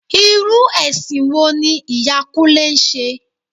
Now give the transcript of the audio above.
Irú ẹ̀sìn wo ni ìyá Kúnlẹ́ ń ṣe?